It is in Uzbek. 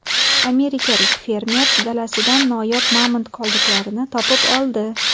Amerikalik fermer dalasidan noyob mamont qoldiqlarini topib oldi.